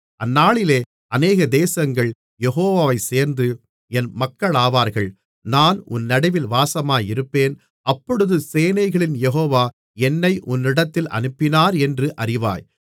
அந்நாளிலே அநேக தேசங்கள் யெகோவாவைச் சேர்ந்து என் மக்களாவார்கள் நான் உன் நடுவில் வாசமாயிருப்பேன் அப்பொழுது சேனைகளின் யெகோவா என்னை உன்னிடத்தில் அனுப்பினாரென்று அறிவாய்